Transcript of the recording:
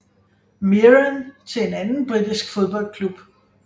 Mirren til en anden britisk fodboldklub